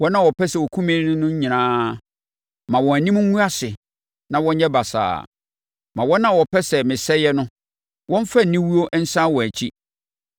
Wɔn a wɔpɛ sɛ wɔkum me no nyinaa, ma wɔn anim ngu ase na wɔnyɛ basaa; ma wɔn a wɔpɛ sɛ mesɛeɛ no, wɔmfa aniwuo nsane wɔn akyi.